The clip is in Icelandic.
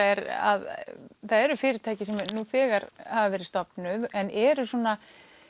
er að það eru fyrirtæki sem hafa nú þegar verið stofnuð en eru svona